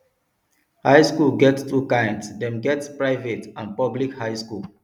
high school get two kinds dem get private and public high school